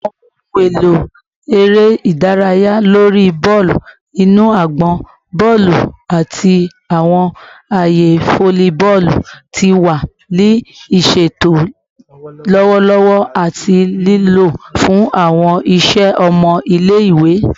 Awọn ohun elo ere idaraya lori bọọlu inu agbọn, bọọlu, ati awọn aaye folliboolu ti wa ni iṣeto lọwọlọwọ ati lilo fun awọn iṣẹ ọmọ ile-iwe